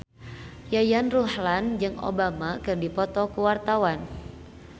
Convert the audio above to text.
Yayan Ruhlan jeung Obama keur dipoto ku wartawan